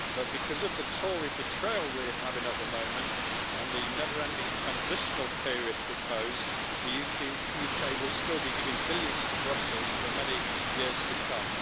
But because of the Tory betrayal we are having at the moment and the never ending transitional period proposed, the UK will still be giving billions to Brussels for many years to come.